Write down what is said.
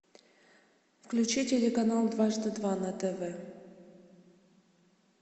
включи телеканал дважды два на тв